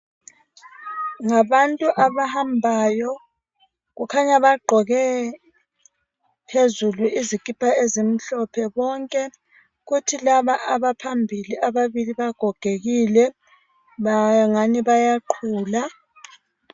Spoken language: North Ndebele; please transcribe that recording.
Ngabantu abahambayo kukhanya bagqoke phezulu izikipa ezimhlophe bonke kuthi laba abaphambili ababili bagogekile bangani bayaqhula